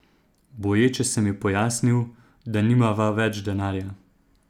Boječe sem ji pojasnil, da nimava več denarja.